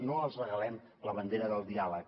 no els regalem la bandera del diàleg